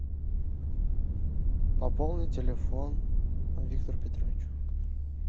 пополни телефон виктору петровичу